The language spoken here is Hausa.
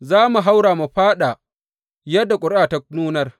Za mu haura mu fāɗa yadda ƙuri’a ta nunar.